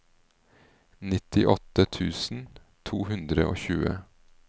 nittiåtte tusen to hundre og tjue